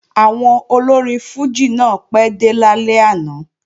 Àwọn olórin fùjì náà pẹ́ dé lálẹ́ àná